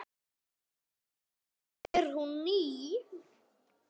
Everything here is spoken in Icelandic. Samt er hún ný.